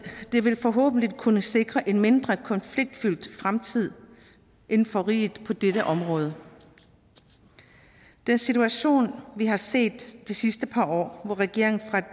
det vil forhåbentlig kunne sikre en mindre konfliktfyldt fremtid inden for riget på dette område den situation vi har set de sidste par år hvor regeringen